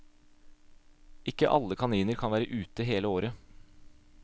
Ikke alle kaniner kan være ute hele året.